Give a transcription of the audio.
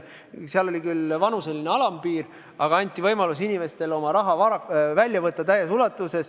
Seal oli küll vanuseline alampiir, aga inimestele anti võimalus oma raha täies ulatuses välja võtta.